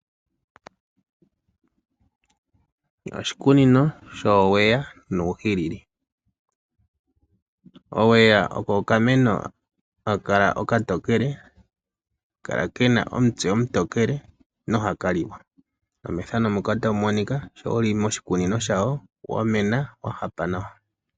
Oshikunino showeya nuuhilili. Oweya oko okameno haka kala okatokele haka kala kena omitse omutokele nohaka liwa.